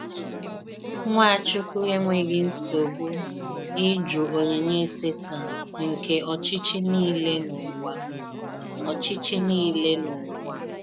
Nwàchùkwù ènwèghì nsọ́gbù ịjụ onyìnyè Sátán nke óchí̄chí̄ niile n’ụ̀wà. óchí̄chí̄ niile n’ụ̀wà.